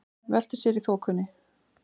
Veltir sér í þokunni.